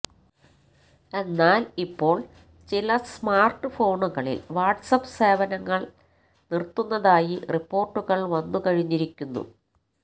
എന്നാൽ ഇപ്പോൾ ചില സ്മാർട്ട് ഫോണുകളിൽ വാട്ട്സ് ആപ്പ് സേവനങ്ങൾ നിർത്തുന്നതായി റിപ്പോർട്ടുകൾ വന്നുകഴിഞ്ഞിരിക്കുന്നു